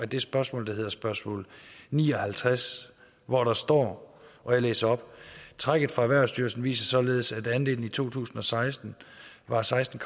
det spørgsmål der hedder spørgsmål ni og halvtreds hvor der står og jeg læser op trækket fra erhvervsstyrelsen viser således at andelen i to tusind og seksten var seksten